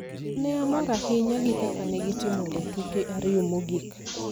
to ne omor ahinya gi kaka ne gitimo e tuke ariyo mogik.